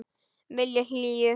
Vilja hlýju.